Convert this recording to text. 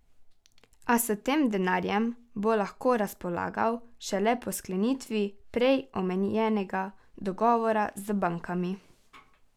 A s tem denarjem bo lahko razpolagal šele po sklenitvi prej omenjenega dogovora z bankami.